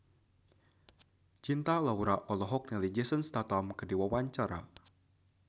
Cinta Laura olohok ningali Jason Statham keur diwawancara